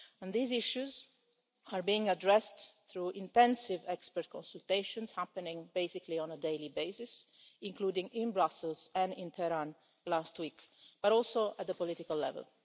These issues are being addressed through intensive expert consultations, happening basically on a daily basis, including in Brussels and in Tehran last week, but also at the political level.